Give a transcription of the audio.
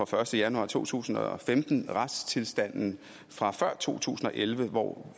første januar to tusind og femten retstilstanden fra før to tusind og elleve hvor